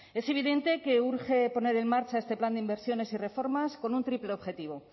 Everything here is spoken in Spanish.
es evidente que urge poner en marcha este plan de inversiones y reformas con un triple objetivo